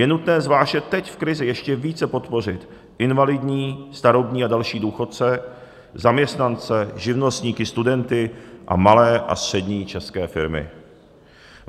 Je nutné zvláště teď v krizi ještě více podpořit invalidní, starobní a další důchodce, zaměstnance, živnostníky, studenty a malé a střední české firmy.